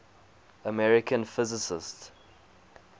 american physicists